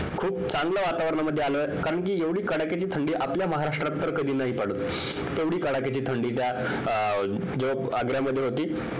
खूप चांगल्या वातावरणामध्ये आलोय कारण कि एवढी कडाक्याची थंडी आपल्या महाराष्ट्रात तर कधी नाही पडत एवढी कडाक्याची थंडी आग्र्यामध्ये होती